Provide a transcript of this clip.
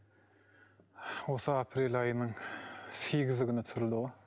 осы апрель айының сегізі күні түсірілді ғой